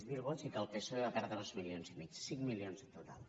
zero vots i que el psoe en va perdre dos milions i mig cinc milions en total